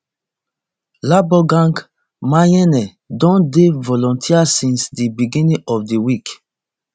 lebogang maiyane don dey volunteer since di beginning of di week